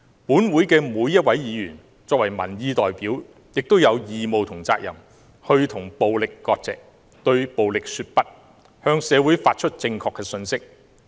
本會的每一位議員作為民意代表，亦有義務和責任與暴力割席，對暴力說不，向社會發出正確信息。